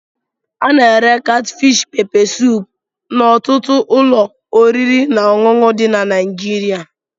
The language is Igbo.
Ana-ere katfish pepe suup n'ọtụtụ ụlọ oriri na ọṅụṅụ dị na Naịjirịa.